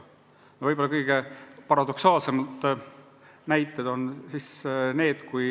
No toon kaks võib-olla kõige paradoksaalsemat näidet.